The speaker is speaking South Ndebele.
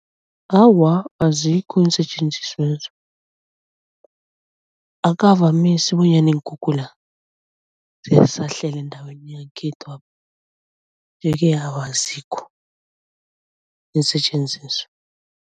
Awa, azikho iinsetjenziswezo. Akukavamisi bonyana iinkhukhula ziyasahlela eendaweni yangekhethwapha nje-ke awa azikho iinsetjenziswa.